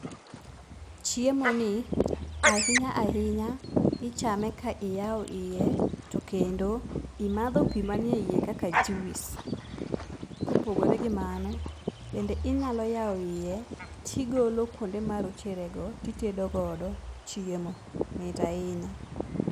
Chiemo ni ahinya ahinya ichame ka iyawo iye to kendo imadho pi mani eiye kaka juice. Kopogore gi mano, bende inyalo yawo iye, tigolo kuonde marocherego titedogodo chiemo. Mit ahinya!